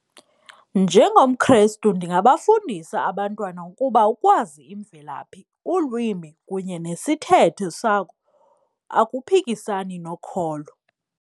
NjengomKrestu ndingabafundisa abantwana ukuba ukwazi imvelaphi, ulwimi kunye nesithethe sakho akuphikisani nokholo.